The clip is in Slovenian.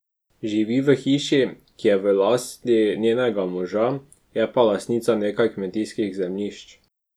Živi v hiši, ki je v lasti njenega moža, je pa lastnica nekaj kmetijskih zemljišč.